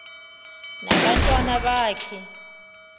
na abantwana baka